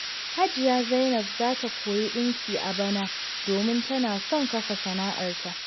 Hajiya Zainab za ta koyi dinki a bana, domin tana son kafa sana’arta.